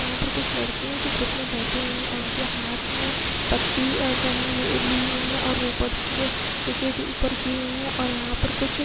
यहाँ पे कुछ लड़के है जो ग्रुप में बैठे हुये है और उनके हाथ में पत्ती बनी हुई ली हुई है और ऊपर से दे की दी ऊपर की हुई है और यहाँ पे कुछ --